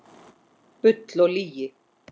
Bull og lygi